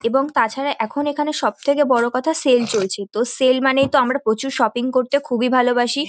এবং তাছাড়া এখন এখানে সবথেকে বড় কথা সেল চলছে তো সেল মানে তো আমরা প্রচুর করতে খুবিই ভালোবাসি--